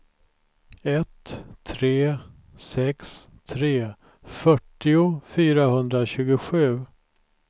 ett tre sex tre fyrtio fyrahundratjugosju